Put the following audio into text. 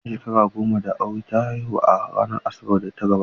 Bayan shekara goma da aure ta haihu a ranar Asabar da ta gabata.